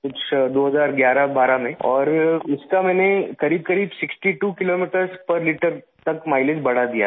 कुछ 201112 में और इसका मैंने करीबकरीब 62 किलोमीटर पेर लित्रे तक माइलेज बढ़ा दिया था